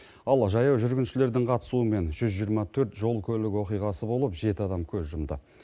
ал жаяу жүргіншілердің қатысуымен жүз жиырма төрт жол көлік оқиғасы болып жеті адам көз жұмды